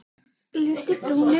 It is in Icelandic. Lyfti brúnum.